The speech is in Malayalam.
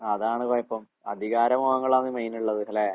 ആഹ് അതാണ് കൊഴപ്പം. അധികാരമോഹങ്ങളാണ് മെയിൻ ഇള്ളത് അല്ലേ?